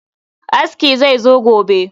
Aski zai zo gobe